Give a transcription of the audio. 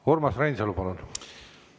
Urmas Reinsalu, palun!